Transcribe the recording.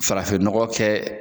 Farafinɔgɔ kɛ